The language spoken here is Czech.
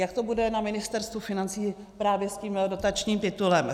Jak to bude na Ministerstvu financí právě s tímto dotačním titulem?